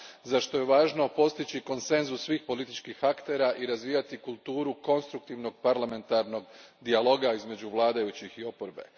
za što je važno postići konsenzus svih političkih aktera i razvijati kulturu konstruktivnog parlamentarnog dijaloga između vladajućih i oporbe.